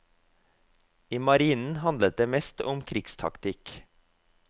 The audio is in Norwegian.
I marinen handlet det mest om krigstaktikk.